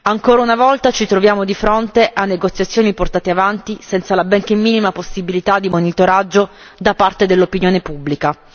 Ancora una volta ci troviamo di fronte a negoziazioni portate avanti senza la benché minima possibilità di monitoraggio da parte dell'opinione pubblica.